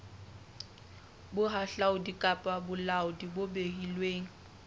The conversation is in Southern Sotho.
bohahlaudi kapa bolaodi bo beilweng